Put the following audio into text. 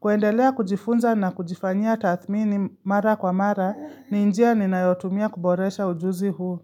Kuendelea kujifunza na kujifanya tathmini mara kwa mara, ni njia ninayotumia kuboresha ujuzi huu.